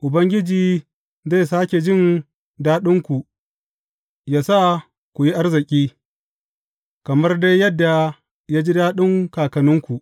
Ubangiji zai sāke jin daɗinku yă sa ku yi arziki, kamar dai yadda ya ji daɗin kakanninku.